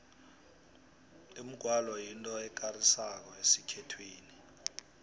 umgwalo yinto ekarisako esikhethwini